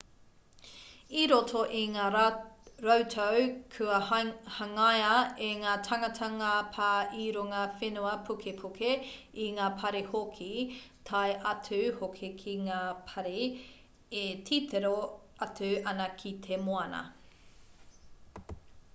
i roto i ngā rautau kua hangaia e ngā tāngata ngā pā i runga whenua pukepuke i ngā pari hoki tae atu hoki ki ngā pari e titiro atu ana ki te moana